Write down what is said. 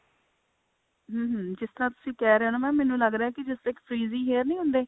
ਹਮ ਹਮ ਜਿਸ ਤਰ੍ਹਾਂ ਤੁਸੀਂ ਕਹਿ ਰਹੇ ਹੋ ਨਾ mam ਮੈਨੂੰ ਲੱਗਦਾ ਕਿ ਜਦੋਂ ਤੱਕ freeze hair ਨਹੀਂ ਹੁੰਦੇ